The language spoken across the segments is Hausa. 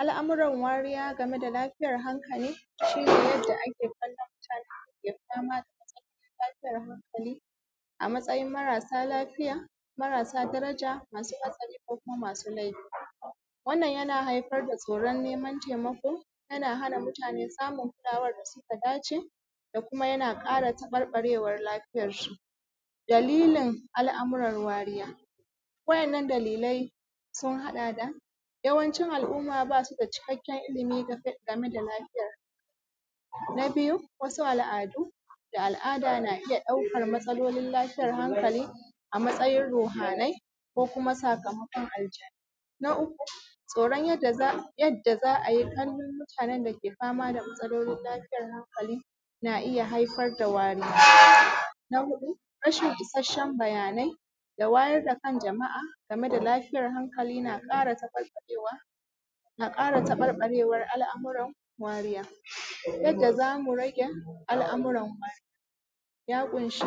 Al’amuran wariya gameda lafiyar hankali shine yadda ake kollon mutane da dama da matsalolin lafiyan hankali, a matsayin marasa lafiya, marasa daraja masu hatsari ko kuma masu laifi. Wannan yana haifar da tsoron naiman taimako yana hana mutane samun kulawar da suka dace da kuma ƙara taɓarɓarewar lafiyar su. Dalilin al’amuran wariya wa ‘yan’ nan dalilai sun haɗa da yawancin al’umma basuda cikakken ilimi game da. game da lafiyar. Na biyu wasu al’adu da al’ada na iyya ɗaukan matsalolin lafiyar hankali a matsayin rohanai ko kuma sakamakon aljannu. Na uku tsoron yadda za a yadda za'a ai kallon mutanen dake fama da matsalan lafiyan hankali na iyya haifar da wariya. Na huɗu rashin isashshen bayanai da wayar da kan jama'a gameda lafiyar hankali na ƙara taɓarɓarewa na kara tabarbarewar al’amuran wariya. Yadda zamu rage al’amuran wariya. Ya ƙunshi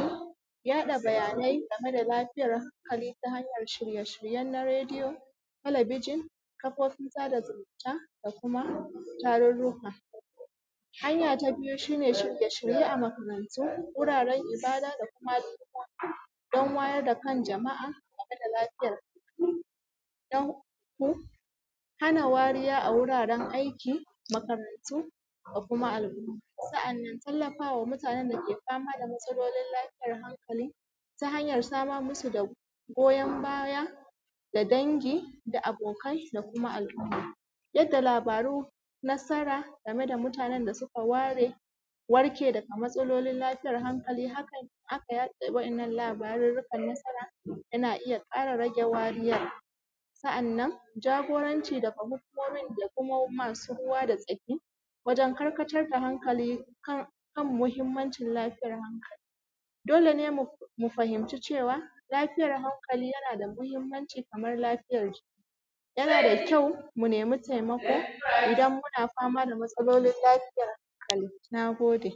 yaɗa bayanai gameda lafiyar hankali ta hanyan shirye shiryen na radiyo, talabijin, kafofin sada zumunta da kuma tarurruka. Hanya ta biyu shiryeshirye a makarantu, wuraren ibada da kuma al'ummomi dan wayar da kan jama’a gameda lafiyar kwakwalwa. Na uku hana wariya a wuraren aiki makarantu da kuma al’umma. Sa’annan tallafawa mutanen dake fama da matsalolin lafiyar hankali ta hanyar samar musu da goyan baya, ga dangi, da abokai, da kuma al’umma. Yadda labarum nasara gameda mutanen da suka ware warke daga matsalolin lafiyar hankali. haka in aka yaɗa waɗannan labarurukan nasara yana iyya ƙara rage wariyar. Sa’anan jagoranci daga hukumomi da kuma masu ruwa da tsaki, wajen karkatar da hankali kan mahimmancin lafiyar hankali. Dole ne mufahimci cewa lafiyar hankali yanada mahimmanci Kaman lafiyar jiki, yanada kyau munaimi taimako idan muna fama da matsololin lafiyar hankali. Nagode